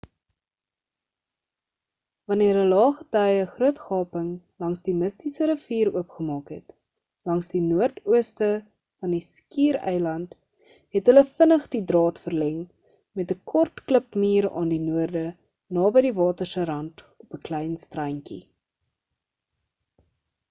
wanneer 'n lae gety 'n groot gaping langs die mistiese rivier oopgemaak het langs die noordooste van die skiereiland het hulle vinnig die draad verleng met 'n kort klipmuur aan die noorde naby die water se rant op 'n klein strandjie